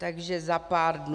Takže za pár dnů.